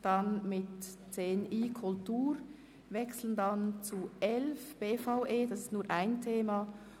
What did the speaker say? Danach wechseln wir zum dem Themenblock 11 betreffend die BVE mit nur einem Thema.